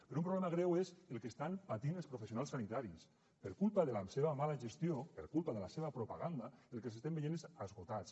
però un problema greu és el que estan patint els professionals sanitaris per culpa de la seva mala gestió per culpa de la seva propaganda el que els estem veient és esgotats